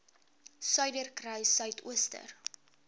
suiderkruissuidooster